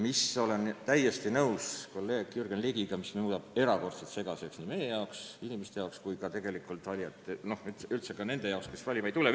Olen täiesti nõus kolleeg Jürgen Ligiga, et see muudab valimissüsteemi erakordselt segaseks nii meie jaoks kui ka teiste valijate või üldse kõigi jaoks, ka nende jaoks, kes valima ei tule.